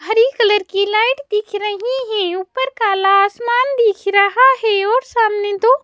हरी colour की light दिख रही है। ऊपर काला आसमान दिख रहा है और सामने दो--